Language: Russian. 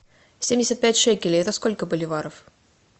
семьдесят пять шекелей это сколько боливаров